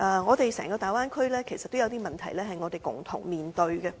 然而，整個大灣區也有些問題，是我們要共同面對的。